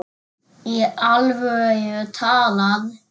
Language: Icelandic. Í alvöru talað.